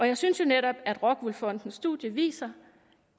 jeg synes jo netop at rockwool fondens studie viser